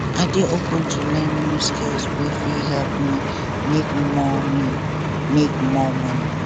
i dey open to learn new skills wey fit help me make more me make more money